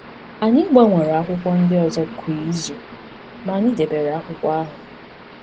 Anyị gbanwere akwụkwọ ndị ọzọ kwa izu, ma anyị debere akwụkwọ ahụ.